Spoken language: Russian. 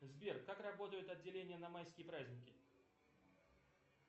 сбер как работают отделения на майские праздники